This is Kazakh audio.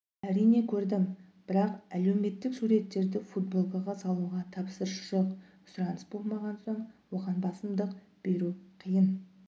әрине көрдім бірақ әлеуметтік суреттерді футболкаға салуға тапсырыс жоқ сұраныс болмаған соң оған басымдық беру қиын